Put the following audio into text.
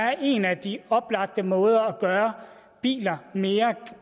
er en af de oplagte måder at gøre biler mere